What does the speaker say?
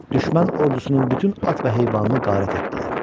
Düşmən ordusunun bütün at və heyvanını qarət etdilər.